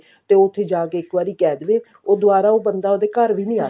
ਤੇ ਉੱਥੇ ਜਾ ਕਿ ਇੱਕ ਵਾਰੀ ਕਿਹ ਦੇਵੇ ਉਹ ਦਵਾਰਾ ਉਹ ਬੰਦਾ ਉਹਦੇ ਘਰ ਵੀ ਨੀ